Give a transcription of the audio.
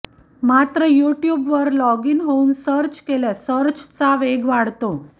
मात्र यूट्यूबवर log in होऊन सर्च केल्यास सर्चचा वेग वाढतो